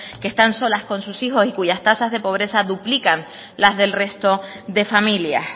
que están solas con sus hijos y cuyas tasas de pobreza duplican las del resto de familias